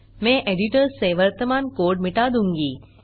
मैं एडिटर से वर्तमान कोड मिटा दूँगा